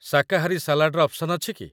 ଶାକାହାରୀ ସାଲାଡ଼ର ଅପ୍ସନ୍ ଅଛି କି?